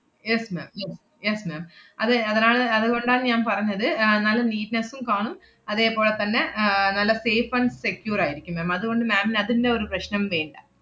yes ma'am yes, yes ma'am അതെ അതിനാണ് അതുകൊണ്ടാ ഞാൻ പറഞ്ഞത്, ആഹ് നല്ല neatness ഉം കാണും അതേപോലെ തന്നെ ആഹ് നല്ല safe and secure ആയിരിക്കും ma'am അതുകൊണ്ട് ma'am ന് അതിന്‍റെ ഒരു പ്രശ്നം വേണ്ട.